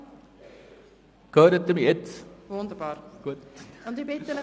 – Grossrat Ueli Frutiger, sprechen Sie bitte ins Mikrofon.